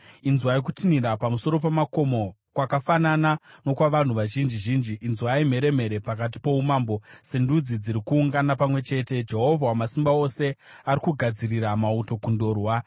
Inzwai, kutinhira pamusoro pamakomo, kwakafanana nokwavanhu vazhinji zhinji! Inzwai, mheremhere pakati poumambo, sendudzi dziri kuungana pamwe chete! Jehovha Wamasimba Ose ari kugadzirira mauto kundorwa.